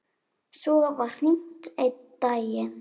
Svo var hringt einn daginn.